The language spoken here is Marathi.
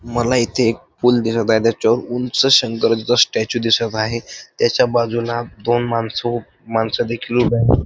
मला मला इथे एक पूल दिसत आहे त्याच्यावर उंच शंकराचा स्टॅच्यू दिसत आहे त्याच्या बाजूला दोन माणसं उ माणसं देखील उभे आहेत.